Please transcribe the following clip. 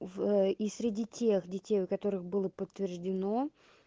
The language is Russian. в и среди тех детей у которых было подтверждено